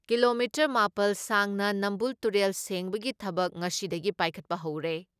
Kilometre ꯃꯥꯄꯜ ꯁꯥꯡꯅ ꯅꯝꯕꯨꯜ ꯇꯨꯔꯦꯜ ꯁꯦꯡꯕꯒꯤ ꯊꯕꯛ ꯉꯁꯤꯗꯒꯤ ꯄꯥꯏꯈꯠꯄ ꯍꯧꯔꯦ ꯫